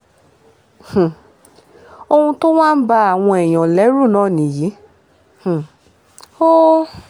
um ohun tó wá ń ba àwọn èèyàn lẹ́rù náà nìyí um o